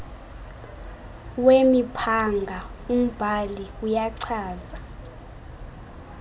wemiphanga umbhali uyachaza